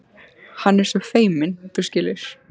Hann er svo feiminn, þú skilur.